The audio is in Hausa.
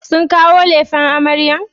Sun kawo lefen amaryar?